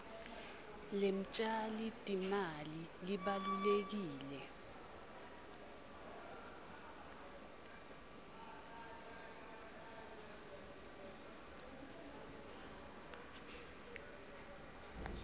lemtjali timali libalulekile